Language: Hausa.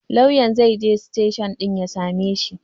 Lauyan zaije siteshin ɗin ya sameshi